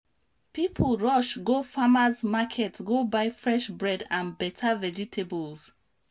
people rush go farmer's market go buy fresh bread and better vegetables.